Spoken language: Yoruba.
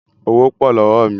Owó pọ̀ lọ́wọ́ mi